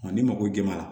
ni mago jɔr'a la